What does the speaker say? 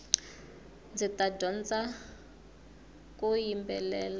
ndzita dyondzaku yimbelela